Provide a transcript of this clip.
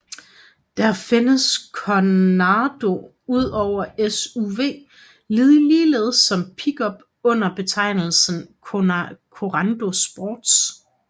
Der findes Korando udover SUV ligeledes som pickup under betegnelsen Korando Sports